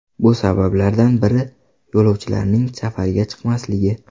Bu sabablardan biri yo‘lovchilarning safarga chiqmasligi.